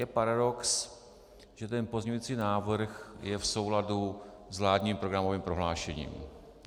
Je paradox, že ten pozměňovací návrh je v souladu s vládním programovým prohlášením.